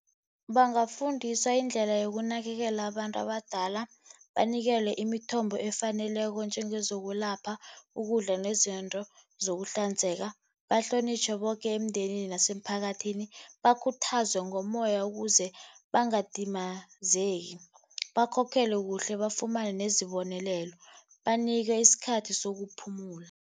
Bangafundiswa indlela yokunakelela abantu abadala, banikelwe imithombo efaneleko njengezokwelapha, ukudla, nezinto zokuhlanzeka. Bahlonitjhwe boke emndenini nemphakathini, bakhuthazwe ngomoya ukuze bangadumazeki. Bakhokhelwe kuhle, bafumane nezibonelelo. Banikwe isikhathi sokuphumula.